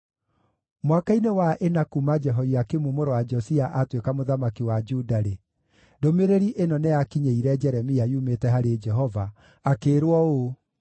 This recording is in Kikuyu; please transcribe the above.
Mwaka-inĩ wa ĩna kuuma Jehoiakimu mũrũ wa Josia atuĩka mũthamaki wa Juda-rĩ, ndũmĩrĩri ĩno nĩyakinyĩire Jeremia yumĩte harĩ Jehova, akĩĩrwo ũũ: